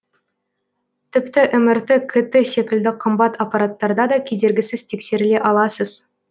тіпті мрт кт секілді қымбат аппараттарда да кедергісіз тексеріле аласыз